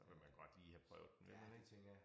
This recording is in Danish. Så vil man godt lige have prøvet den vil man ikke